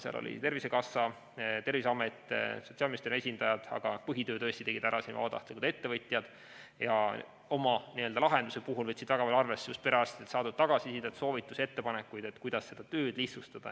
Seal oli tervisekassa, Terviseameti, Sotsiaalministeeriumi esindajad, aga põhitöö tegid ära vabatahtlikud ettevõtjad, kes oma lahenduse puhul võtsid arvesse just perearstidelt saadud tagasisidet, soovitusi, ettepanekuid, kuidas seda tööd lihtsustada.